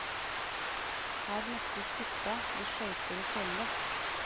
Her møttes gutta med skøyter og kølle.